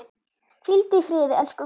Hvíldu í friði, elsku Guðrún.